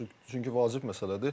Çünki vacib məsələdir.